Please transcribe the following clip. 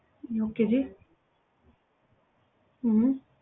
Okay ਜੀ ਹਮ